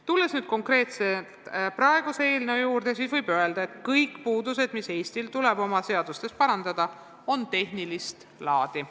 Tulles nüüd konkreetselt praeguse eelnõu juurde, võib öelda, et kõik puudused, mis Eestil tuleb oma seadustes parandada, on tehnilist laadi.